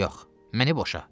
Yox, məni boşa.